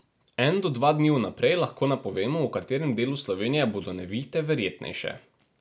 En do dva dni vnaprej lahko napovemo, v katerem delu Slovenije bodo nevihte verjetnejše.